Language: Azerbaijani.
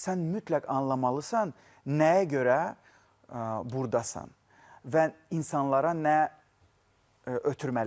Sən mütləq anlamalısan nəyə görə burdasan və insanlara nə ötürməlisən.